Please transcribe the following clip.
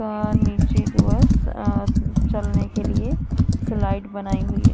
वहां नीचे की चलने के लिए स्लाइड बनाई हुई--